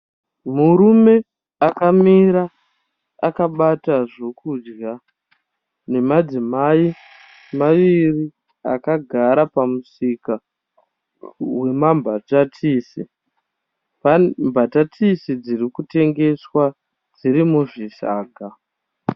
Murume akamira akabata zvokudya nemadzimai maviri akagara pamusika wemambatatisi. Mbatatisi dzinotengeswa dziri muzvisaga.